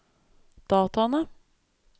dataene